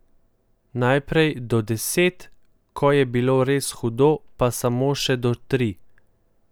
Najprej do deset, ko je bilo res hudo, pa samo še do tri.